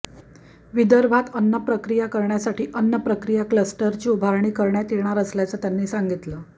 विदर्भात अन्नप्रक्रिया करण्यासाठी अन्नप्रक्रिया क्लस्टरची उभारणी करण्यात येणार असल्याचं त्यांनी सांगितलं